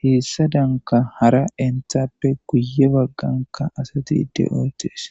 heessa danka hara enthappe guye bagganka asati de7oytes